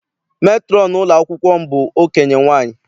Metrọn ụlọ akwụkwọ m bụ okenye nwaanyị.